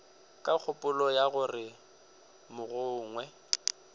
ka kgopolo ya gore mogongwe